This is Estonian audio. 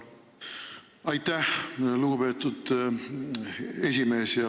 Aitäh, lugupeetud esimees!